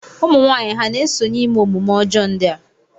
Ụmụnwaanyị ha na-esonye ime omume ọjọọ ndị a?